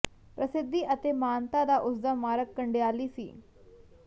ਪ੍ਰਸਿੱਧੀ ਅਤੇ ਮਾਨਤਾ ਦਾ ਉਸ ਦਾ ਮਾਰਗ ਕੰਡਿਆਲੀ ਸੀ